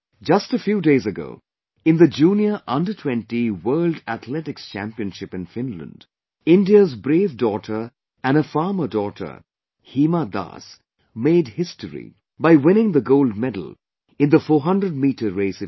Just a few days ago, in the Junior Under20 World Athletics Championship in Finland, India's brave daughter and a farmer daughter Hima Das made history by winning the gold medal in the 400meter race event